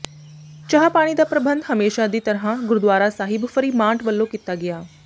ਚਾਹ ਪਾਣੀ ਦਾ ਪ੍ਰਬੰਧ ਹਮੇਸ਼ਾਂ ਦੀ ਤਰ੍ਹਾਂ ਗੁਰਦੁਆਰਾ ਸਾਹਿਬ ਫਰੀਮਾਂਟ ਵੱਲੋਂ ਕੀਤਾ ਗਿਆ